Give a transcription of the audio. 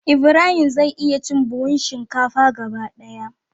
Ibrahim zai iya cin buhun shinkafa gaba daya.